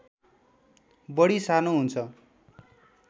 बढी सानो हुन्छ